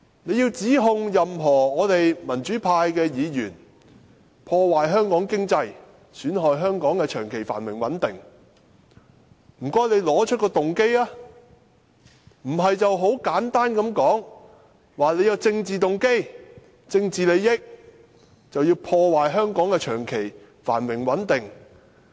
他們想指控任何一位民主派議員破壞香港經濟、損害香港的長期繁榮穩定，請他們指出動機，不要很簡單地說，我們存有政治動機和政治利益，所以要破壞香港的長期繁榮穩定。